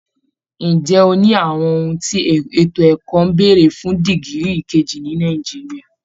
Ǹjẹ́ o ní àwọn ohun tí ètò ẹ̀kọ́ ń béèrè fún dìgírì kejì ní Nàìjíríà?